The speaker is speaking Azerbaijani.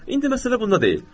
İndi məsələ bunda deyil.